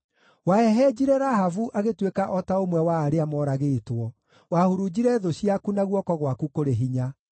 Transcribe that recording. Wahehenjire Rahabu agĩtuĩka o ta ũmwe wa arĩa moragĩtwo; wahurunjire thũ ciaku na guoko gwaku kũrĩ hinya.